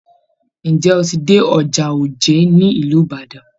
Ǹjẹ́ o ti dé ọjà òjé ní ìlú Ibadan?